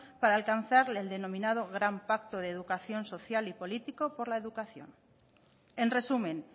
para alcanzar el denominado gran pacto de educación social y político por la educación en resumen